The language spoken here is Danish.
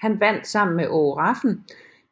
Han vandt sammen med Aage Rafn